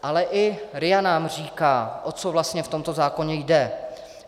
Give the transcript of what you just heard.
Ale i RIA nám říká, o co vlastně v tomto zákoně jde.